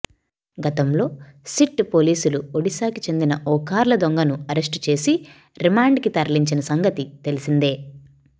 గతంలో సిట్ పోలీసులు ఒడిశాకి చెందిన ఒక కార్ల దొంగను అరెస్టు చేసి రిమాండ్కి తరలించిన సంగతి తెలిసిందే